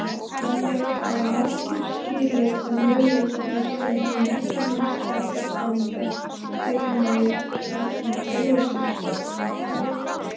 Þannig hafa margir skilið að möguleikarnir sem menntunin skapar framundan eru nær takmarkalausir.